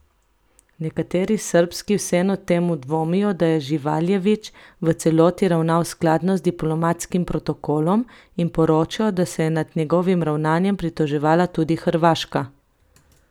Nekateri srbski vseeno temu dvomijo, da je Živaljević v celoti ravnal skladno z diplomatskim protokolom in poročajo, da se je nad njegovim ravnanjem pritoževala tudi Hrvaška.